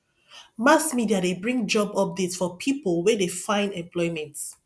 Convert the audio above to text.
mass media de bring job updates for pipo wey de find employment